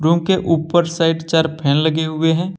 उनके ऊपर साइड चार फैन लगे हुए हैं।